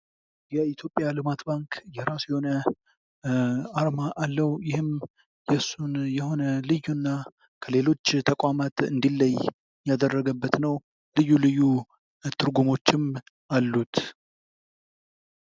የኢትዮጵያ ልማት ባንክ የራሱ የሆነ አርማ አለው። ይህም የሱን የሆነ ልዩ እና ከሌሎች ተቋማት እንዲለይ ያደረገበት ነው። ልዩ ልዩ ትርጉሞችም አሉት።